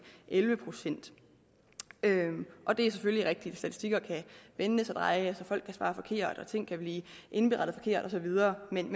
elleve procent og det er selvfølgelig rigtigt at statistikker kan vendes og drejes og folk kan svare forkert og ting kan blive indberettet forkert og så videre men